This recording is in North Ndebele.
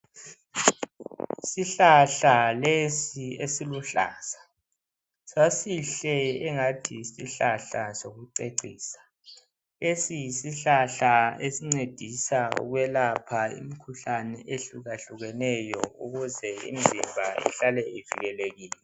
Isihlahla lesi esiluhlaza. Sasihle engathi yisihlahla sokucecisa. Lesi yisihlahla esincedisa ukwelapha imikhuhlane ehlukahlukeneyo ukuze imzimba ihlale ivikelekile.